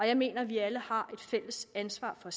jeg mener at vi alle har et fælles ansvar for